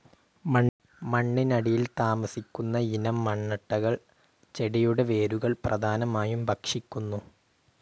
മണ്ണിനടിയിൽ താമസിക്കുന്ന ഇനം മണ്ണട്ടകൾ ചെടികളുടെ വേരുകൾ പ്രധാനമായും ഭക്ഷിക്കുന്നു.